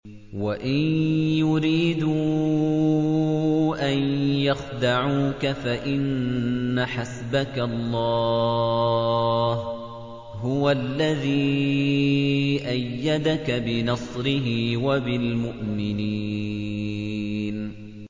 وَإِن يُرِيدُوا أَن يَخْدَعُوكَ فَإِنَّ حَسْبَكَ اللَّهُ ۚ هُوَ الَّذِي أَيَّدَكَ بِنَصْرِهِ وَبِالْمُؤْمِنِينَ